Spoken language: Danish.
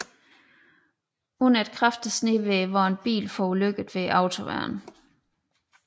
Under et kraftigt snevejr var en bil forulykket ved autoværnet